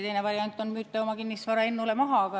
Teine variant on, et te soovite oma kinnisvara Ennule maha müüa.